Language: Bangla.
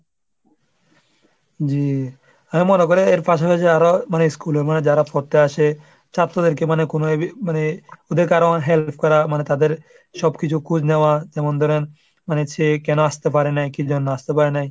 জি আমি মনে করি এর পাশাপাশি আরও মানে school এ মানে যারা পড়তে আসে ছাত্রদেরকে মানে কোনো মানে ওদের আরো অনেক help করা মানে তাদের সব কিছু খোঁজ নেওয়া যেমন ধরেন মানে সে কেন আসতে পারে নাই? কি জন্য আসতে পারে নাই?